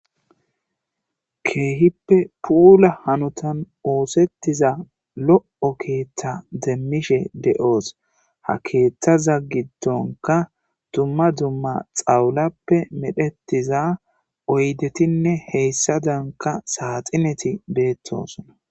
Keehippe puula hanotan oosettiza lo'o keetta demmishe de'oos. Ha keettaza giddonka dumma dumma tsawulappe metsettiza oyddetinne heezzadanka saaxinet beettoosona.